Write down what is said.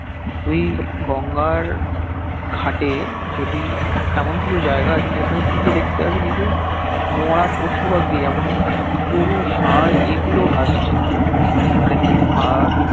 তুই গঙ্গার ঘাটে যদি এমন কিছু জায়গা আছে যে খানে তুই গিয়ে দেখতে পাবি কিছু মরা পশু পাখি যেমন গরু সার এগুলো ভাসছে মানে তুই ভাব